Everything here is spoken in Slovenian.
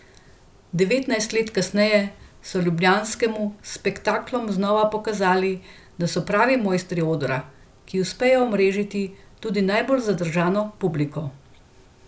Devetnajst let kasneje so ljubljanskemu s spektaklom znova pokazali, da so pravi mojstri odra, ki uspejo omrežiti tudi najbolj zadržano publiko.